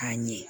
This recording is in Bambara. A ɲɛ